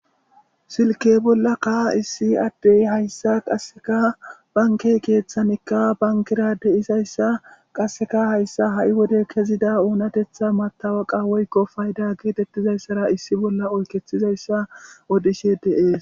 silke bolla ka issi addey hayssa qasseka bankey keeththanikka bankera de isayssa qasseka hayssa ha7i wode kezida oonatetha matawaqa woykko fayda geetettizayssara issi bolla oykethizayssa odishe dee